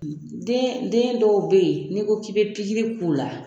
Den den dɔw bɛ yen n'i ko k'i bɛ pkiri i k'u la